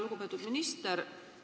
Lugupeetud minister!